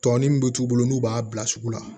Tɔ ni min bɛ t'u bolo n'u b'a bila sugu la